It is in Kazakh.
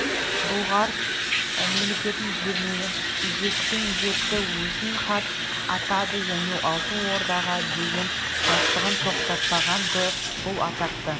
бұлғар мемлекетін жермен жексен етті өзін хан атады және алтын ордаға деген қастығын тоқтатпаған-ды бұл атақты